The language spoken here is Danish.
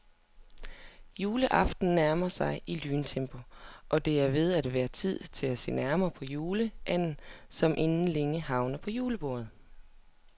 Juleaften nærmer sig i lyntempo, og det er ved at være tid til at se nærmere på juleanden, som inden længe havner på julebordet.